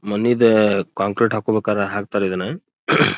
ಮನಿದ concrete ಹಾಕ್ಬೇಕ್ ಆದ್ರೆ ಆಕ್ತರ್ ಇದುನ್ನ.